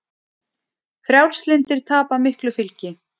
Frjálslyndir tapa miklu fylgi